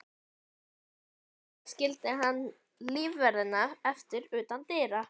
Við höllina skildi hann lífverðina eftir utan dyra.